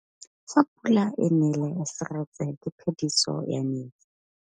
Fa pula e nelê serêtsê ke phêdisô ya metsi.